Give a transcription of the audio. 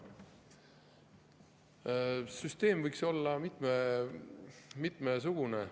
Süsteem võiks olla mitmesugune.